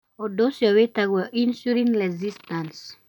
Ũndũ ũcio wĩtagwo insulin resistance